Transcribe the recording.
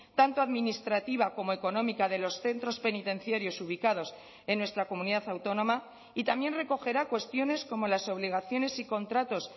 tanto administrativa como económica de los centros penitenciarios ubicados en nuestra comunidad autónoma y también recogerá cuestiones como las obligaciones y contratos